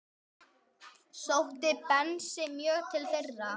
Sótti Bensi mjög til þeirra.